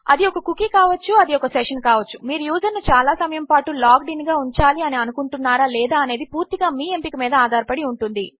అది ఒక కుకీ కావచ్చు అది ఒక సెషన్ కావచ్చు మీరు యూజర్ ను చాలా సమయము పాటు లాగ్డ్ ఇన్ గా ఉంచాలి అని అనుకుంటున్నారా లేదా అనేది పూర్తిగా మీ ఎంపిక మీద ఆధారపడి ఉంటుంది